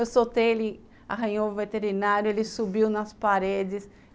Eu soltei, ele arranhou o veterinário, ele subiu nas paredes.